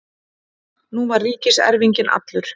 Nú var ríkiserfinginn allur.